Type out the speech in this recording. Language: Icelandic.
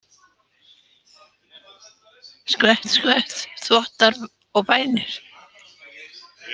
Skvett, skvett, þvottar og bænir.